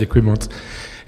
Děkuji moc.